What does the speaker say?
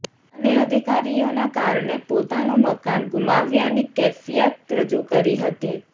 અને અધિકારીઓના કારણે પોતાનું મકાન ગુમાવ્યાની કેફિયત રજૂ કરી હતી